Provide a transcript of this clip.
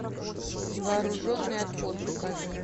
вооруженный отпор покажи